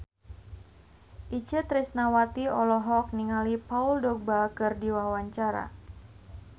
Itje Tresnawati olohok ningali Paul Dogba keur diwawancara